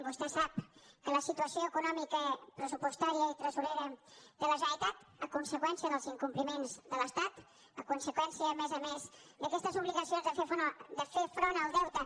vostè sap que la situació econòmica pressupostària i tresorera de la generalitat a conseqüència dels incompliments de l’estat a conseqüència a més a més d’aquestes obligacions de fer front al deute